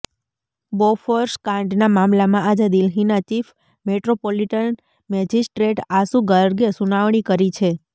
Bofors કાંડના મામલામાં આજે દિલ્હીના ચીફ મેટ્રોપોલિટન મેજિસ્ટ્રેટ આશુ ગર્ગે સુનાવણી કરી છે